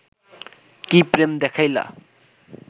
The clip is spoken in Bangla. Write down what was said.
কি প্রেম দেখাইলা